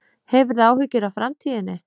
Hefurðu áhyggjur af framtíðinni?